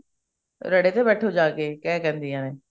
ਰੇਹੜੇ ਤੇ ਬੈਠੋ ਜਾ ਕੇ ਇੰਝ ਕਹਿੰਦੀਆਂ ਨੇ